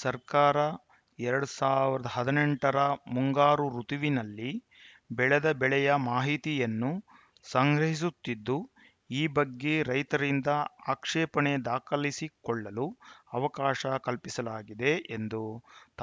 ಸರ್ಕಾರ ಎರಡ್ ಸಾವಿರದ ಹದಿನೆಂಟು ರ ಮುಂಗಾರು ಋುತುವಿನಲ್ಲಿ ಬೆಳೆದ ಬೆಳೆಯ ಮಾಹಿತಿಯನ್ನು ಸಂಗ್ರಹಿಸುತ್ತಿದ್ದು ಈ ಬಗ್ಗೆ ರೈತರಿಂದ ಆಕ್ಷೇಪಣೆ ದಾಖಲಿಸಿಕೊಳ್ಳಲು ಅವಕಾಶ ಕಲ್ಪಿಸಲಾಗಿದೆ ಎಂದು